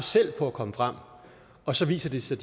på at komme frem og så viser det sig